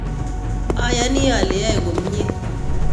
Ayonii ale yoe komyee